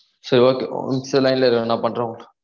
சேரி okay ஒரு நிமிஷம் line ல இரு நா பண்றேன் உனக்கு